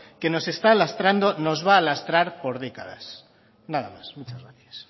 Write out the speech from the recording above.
que nos está lastrando nos va a lastrar por décadas nada más muchas gracias